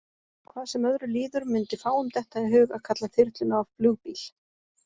Hvað sem öðru líður mundi fáum detta í hug að kalla þyrluna flugbíl.